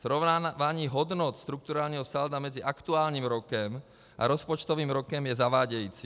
Srovnávání hodnot strukturálního salda mezi aktuálním rokem a rozpočtovým rokem je zavádějící.